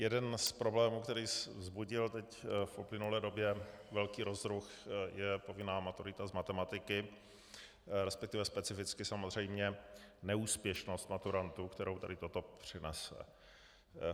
Jeden z problémů, který vzbudil teď v uplynulé době velký rozruch, je povinná maturita z matematiky, respektive specificky samozřejmě neúspěšnost maturantů, kterou tady toto přinese.